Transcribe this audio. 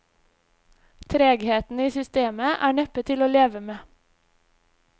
Tregheten i systemet er neppe til å leve med.